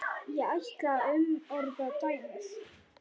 Ég ætla að umorða dæmið.